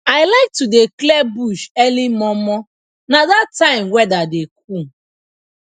i like to dey clear bush early momo na that time weather dey cool